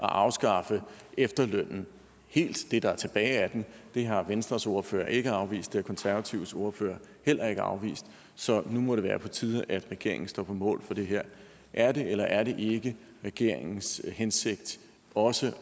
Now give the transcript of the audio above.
at afskaffe efterlønnen det der er tilbage af den det har venstres ordfører ikke afvist har konservatives ordfører heller ikke afvist så nu må det være på tide at regeringen står på mål for det her er det eller er det ikke regeringens hensigt også